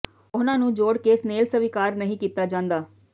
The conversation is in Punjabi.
ਉਹਨਾਂ ਨੂੰ ਜੋੜ ਕੇ ਸਨੇਲ ਸਵੀਕਾਰ ਨਹੀਂ ਕੀਤਾ ਜਾਂਦਾ